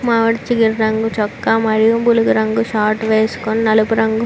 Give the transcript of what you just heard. మామిడి చిగురు రంగు చొక్కా మరియు బులుగు రంగు షార్ట్ వేసుకుని నలుపు రంగు --